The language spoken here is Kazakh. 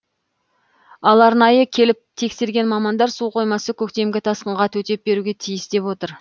ал арнайы келіп тексерген мамандар су қоймасы көктемгі тасқынға төтеп беруге тиіс деп отыр